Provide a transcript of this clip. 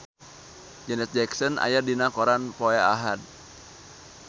Janet Jackson aya dina koran poe Ahad